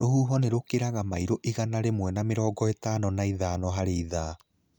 Rũhuho nĩ rũkĩraga mailo igana rĩmwe na mĩrongo ĩtano ithano harĩ ithaa.